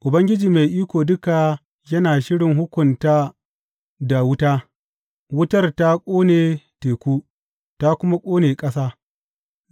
Ubangiji Mai Iko Duka yana shirin hukunta da wuta; wutar ta ƙone teku ta kuma ƙone ƙasa.